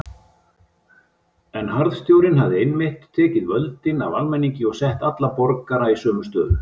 En harðstjórnin hafði einmitt tekið völdin af almenningi og sett alla borgara í sömu stöðu.